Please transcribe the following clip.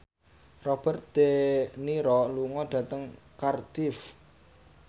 Robert de Niro lunga dhateng Cardiff